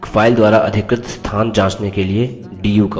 एक file द्वारा अधिकृत स्थान जाँचने के लिए du command